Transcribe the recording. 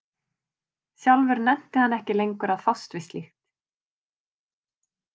Sjálfur nennti hann ekki lengur að fást við slíkt.